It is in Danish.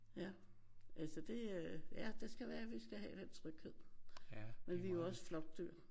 Ja. Altså det øh ja det skal være vi skal have den tryghed. Men vi er jo også flokdyr